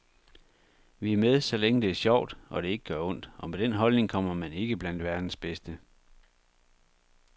Vi er med, så længe det er sjovt, og det ikke gør ondt, og med den holdning kommer man ikke blandt verdens bedste.